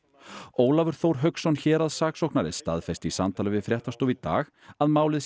Ólafur Þór Hauksson héraðssaksóknari staðfesti í samtali við fréttastofu í dag að málið